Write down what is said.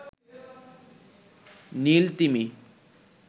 নীল তিমি